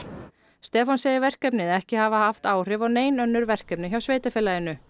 Stefán segir verkefnið ekki hafa haft áhrif á nein önnur verkefni hjá sveitarfélaginu